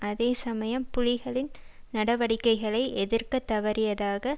அதே சமயம் புலிகளின் நடவடிக்கைகளை எதிர்க்கத் தவறியதாக